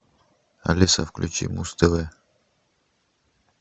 алиса включи муз тв